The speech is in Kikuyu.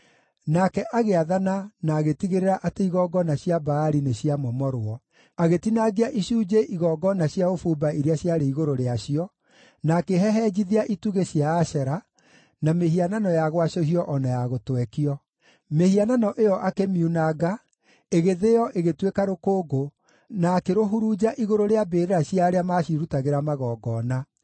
Nake agĩathana na agĩtigĩrĩra atĩ igongona cia Baali nĩciamomorwo; agĩtinangia icunjĩ igongona cia ũbumba iria ciarĩ igũrũ rĩacio, na akĩhehenjithia itugĩ cia Ashera, na mĩhianano ya gwacũhio o na ya gũtwekio. Mĩhianano ĩyo akĩmiunanga, ĩgĩthĩo ĩgĩtuĩka rũkũngũ, na akĩrũhurunja igũrũ rĩa mbĩrĩra cia arĩa maacirutagĩra magongona.